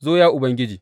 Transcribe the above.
Zo, ya Ubangiji!